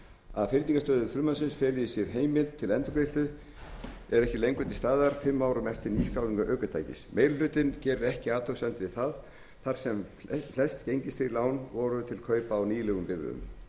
að fyrningarstuðull frumvarpsins feli í sér að heimild til endurgreiðslu er ekki lengur til staðar fimm árum eftir nýskráningu ökutækis meiri hlutinn gerir ekki athugasemdir við það þar sem flest gengistryggð lán voru til kaupa á nýlegum bifreiðum meiri